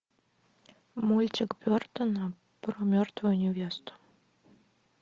мультик бертона про мертвую невесту